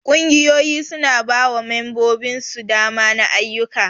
Ƙungiyoyi su na ba wa membobin su dama na ayuka.